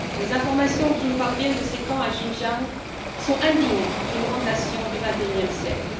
Les informations qui nous parviennent de ces camps au Xinjiang sont indignes d'une grande nation du XXIe siècle.